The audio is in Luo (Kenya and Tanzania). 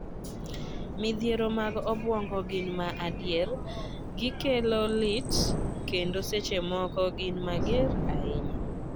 Midhiero mag obwongo gin ma adier, gi kelo lit, kendo seche moko gin mager ahinya.